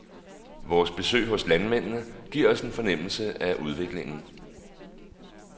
Vores besøg hos landmændene giver os en fornemmelse af udviklingen.